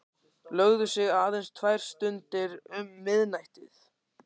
Lögðu sig aðeins tvær stundir um miðnættið.